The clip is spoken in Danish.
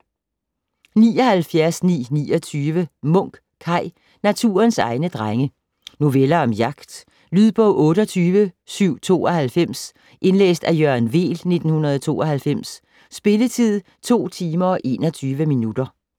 79.929 Munk, Kaj: Naturens egne Drenge Noveller om jagt. Lydbog 28792 Indlæst af Jørgen Weel, 1992. Spilletid: 2 timer, 21 minutter.